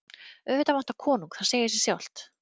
Auðvitað vantar konung, það segir sig sjálft.